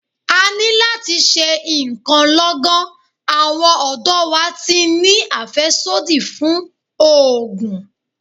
A ní láti ṣe ǹkan lọ́gán, àwọn ọ̀dọ́ wa ti ń ní àfẹ́sódì fún ògùn.